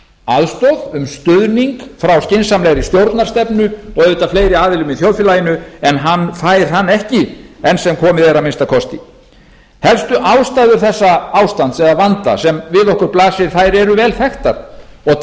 aðstoð um stuðning frá skynsamlegri stjórnarstefnu og auðvitað fleiri aðilum í þjóðfélaginu en hann fær hann ekki enn sem komið er að minnsta kosti helstu ástæður þessa ástands eða vanda sem við okkur blasir eru vel þekktar og